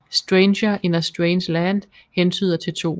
Stranger in a Strange Land hentyder til 2